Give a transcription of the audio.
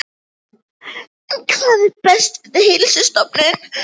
En hvað er best við Heilsustofnun?